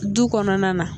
Du kɔnɔna na